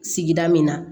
Sigida min na